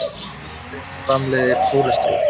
Lifrin framleiðir kólesteról.